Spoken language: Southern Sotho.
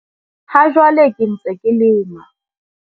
Ha jwale ke ntse ke lema.